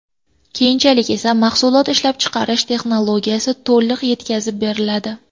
Keyinchalik esa mahsulot ishlab chiqarish texnologiyasi to‘liq yetkazib beriladi.